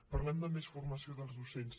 parlem de més formació dels docents